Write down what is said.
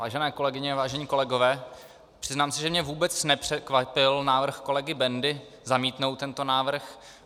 Vážené kolegyně a vážení kolegové, přiznám se, že mě vůbec nepřekvapil návrh kolegy Bendy zamítnout tento návrh.